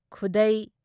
ꯈꯨꯗꯩ